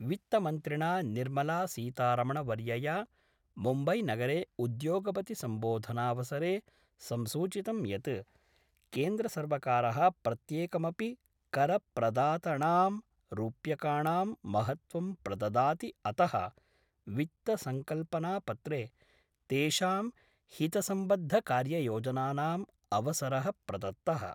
वित्तमन्त्रिणा निर्मलासीतारमणवर्यया मुम्बैनगरे उद्योगपति सम्बोधनावसरे संसूचितं यत् केन्द्रसर्वकारः प्रत्येकमपि करप्रदातणां रूप्यकाणां महत्वं प्रददाति अत: वित्तसंकल्पनापत्रे तेषां हितसम्बद्धकार्ययोजनानां अवसर: प्रदत्त:।